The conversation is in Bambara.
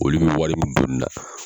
Olu bɛ wari min don nin na.